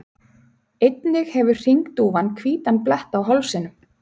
Einnig hefur hringdúfan hvítan blett á hálsinum.